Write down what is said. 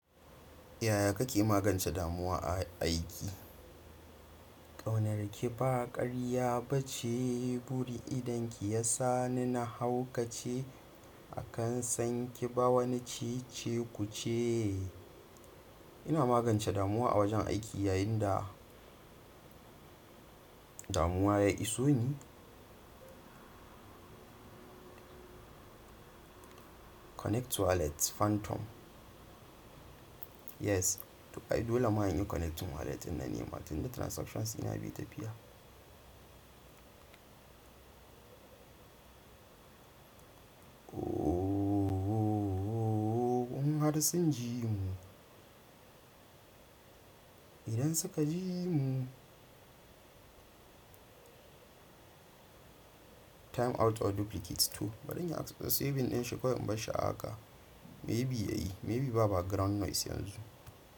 Yaya kake magance damuwa a aiki? Ƙaunar ki ba ƙarya ba ce. Burin idon ki ya sa ni na haukace a kan sanki. Ba wani ceceku ce. Ina magance damuwa a wajen aiki yayin da damuwa ya iso ni. Connect wallet Phantom. Yes, to ay dole ma inyi connecting wallet inna ni. Ma tin da transactions ina bi ta biya. Ohhh, in har sun jimu. Idan suka jimu. Time out or duplicate too. Baɗin ya access web ɗin shi kawai in bashi a haka. Maybe yayi, maybe babu background noise yanzu.